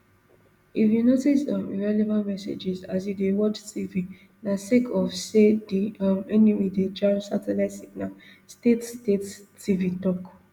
if you notice um irrelevant messages as you dey watch tv na sake of say di um enemy dey jam satellite signals state state tv tok